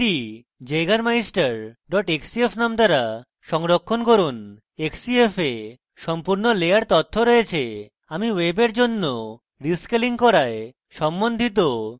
এটি jaegermeister xcf নাম দ্বারা সংরক্ষণ করুন xcf এ সম্পূর্ণ layer তথ্য রয়েছে এবং আমি ওয়েবের জন্য রীস্কেলিং করায় সম্বন্ধিত সম্পূর্ণ তথ্য আলাদা করব